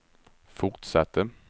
fortsatte